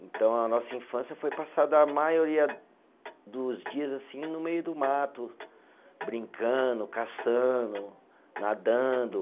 Então, a nossa infância foi passada a maioria dos dias assim no meio do mato, brincando, caçando, nadando.